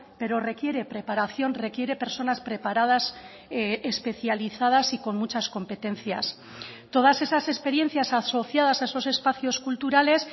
pero requiere preparación requiere personas preparadas especializadas y con muchas competencias todas esas experiencias asociadas a esos espacios culturales